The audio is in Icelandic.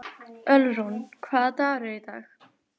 Ölrún, hvaða dagur er í dag?